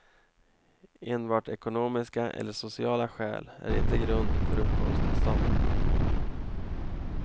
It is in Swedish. Enbart ekonomiska eller sociala skäl är inte grund för uppehållstillstånd.